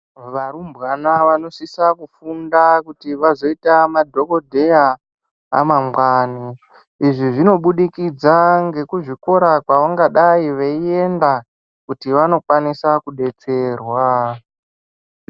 Varumbwana vanosisa kufunda kuti vazoita madhogodheya amangwani. Izvi zvinobudikidza ngekuzvikora kwavangadai veienda kuti vanokwanisa kudetserwa.